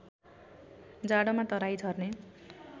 जाडोमा तराई झर्ने